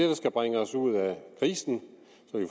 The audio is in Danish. der skal bringe os ud af krisen